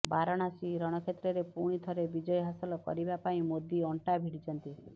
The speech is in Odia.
ବାରାଣାସୀ ରଣକ୍ଷେତ୍ରରେ ପୁଣିଥରେ ବିଜୟହାସଲ କରିବା ପାଇଁ ମୋଦି ଅଣ୍ଟା ଭିଡ଼ିଛନ୍ତି